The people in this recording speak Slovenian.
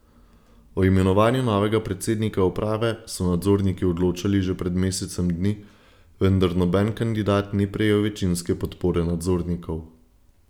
O imenovanju novega predsednika uprave so nadzorniki odločali že pred mesecem dni, vendar noben kandidat ni prejel večinske podpore nadzornikov.